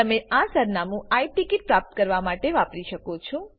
તમે આ સરનામું આઈ ટીકીટ પ્રાપ્ત કરવા માટે વાપરી શકો છો